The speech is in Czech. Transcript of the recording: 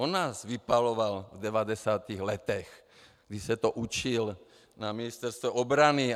On nás vypaloval v 90. letech, kdy se to učil na Ministerstvu obrany.